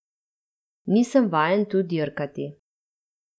Nisem vajen tu dirkati.